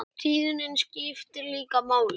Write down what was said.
Tíðnin skiptir líka máli.